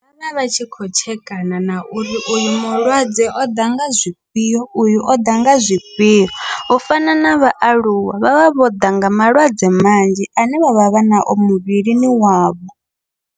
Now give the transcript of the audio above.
Vha vha tshi kho tshekana na uri uyo mulwadze oḓa nga zwifhio, uyu oḓa nga zwifhio u fana na vhaaluwa vhavha vho ḓa nga malwadze manzhi ane vha vha vha nao muvhilini wavho.